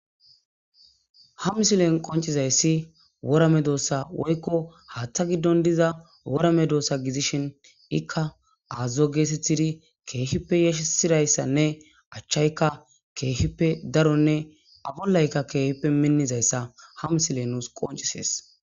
Ha mislen qoncccizayssi wora medoossa woykko haaththa giddon diza wora medoossa gidishin ikka aazzo geetheththidi keehippe yashissira ayssanne achchaykka kehippe daronne a bollaykka keehippe minnizayssa ha mislee nuus qonccissees.